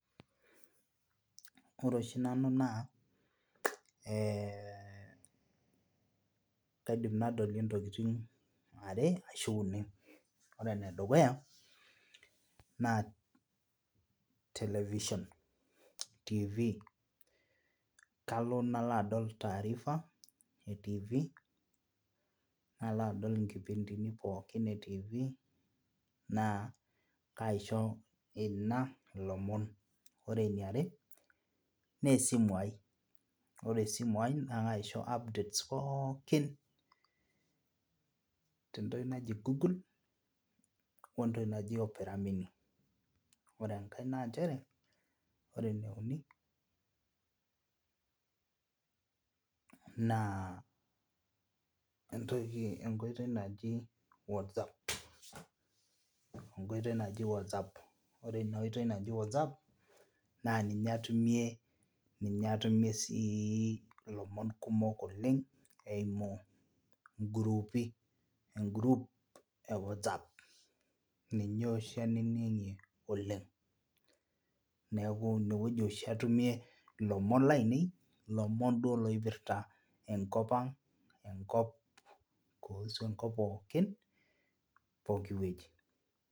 Ore oshi nanu naa eeh kaidim nadolu intokiting are ashu uni ore enedukuya naa television tv kalo nalo adol taarifa e tv nalo adol inkipindini pookin e tv naa kaisho ina ilomon ore eniare nesimu ai ore esimu ai naa kaisho updates pookin tentoki naji google wentoki naji opera mini ore enkae nanchere ore eneuni naa entoki enkoitoi najib whatsapp ore ina oitoi naji whatsapp naa ninye atumie ninye atumie sii ilomon kumok oleng eimu ingurupi engurup e whatsapp ninye oshi ainining'ie oleng niaku inewueji oshi atumie ilomon lainei ilomon duo lopirta enkop ang enkop kuhusu enkop pookin pokiwueji.